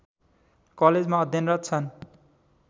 कलेजमा अध्यनरत छन्